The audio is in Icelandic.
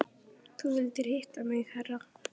Þú vildir hitta mig herra?